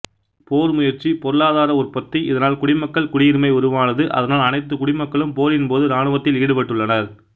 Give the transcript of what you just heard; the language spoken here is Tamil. போர் முயற்சி பொருளாதார உற்பத்தி இதனால் குடிமக்கள் குடியுரிமை உருவானது அதனால் அனைத்து குடிமக்களும் போரின்போது இராணுவத்தில் ஈடுபட்டுள்ளனர்